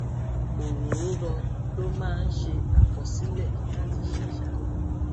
òròórọ ló máa ń ṣe àkọsílè láti ṣàṣàrò